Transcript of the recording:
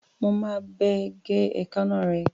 Mo máa bá ẹ gé èékánná rẹ̀.